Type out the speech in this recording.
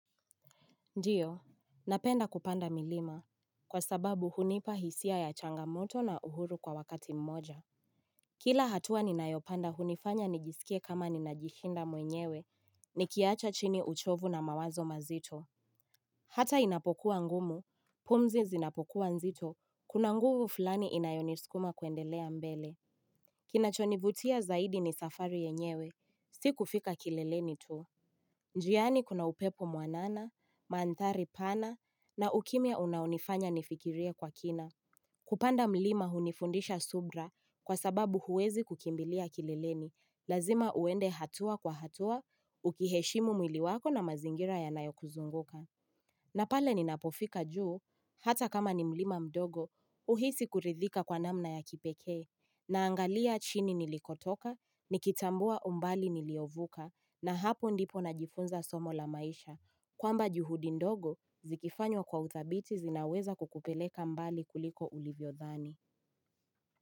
Ndiyo, napenda kupanda milima, kwa sababu hunipa hisia ya changamoto na uhuru kwa wakati mmoja. Kila hatua ninaeopanda hunifanya nijisikie kama ninajihinda mwenyewe, nikiacha chini uchovu na mawazo mazito. Hata inapokuwa ngumu, pumzi zinapokuwa nzito, kuna nguvu fulani inayonisukuma kuendelea mbele. Kinachonivutia zaidi ni safari yenyewe, siku fika kileleni tu. Njiani kuna upepo muanana, mandhari pana, na ukimia unaunifanya nifikiria kwa kina. Kupanda mlima hunifundisha subra kwa sababu huwezi kukimbilia kilileni. Lazima uende hatua kwa hatua, ukiheshimu mwiliwako na mazingira ya nayo kuzunguka. Na pale ninapofika juu, hata kama ni mlima mdogo, uhisi kuridhika kwa namna ya kipekee. Naangalia chini nilikotoka, nikitambua umbali niliovuka, na hapo ndipo najifunza somo la maisha, kwamba juhudi ndogo zikifanywa kwa utabiti zinaweza kukupeleka mbali kuliko ulivyo dhani.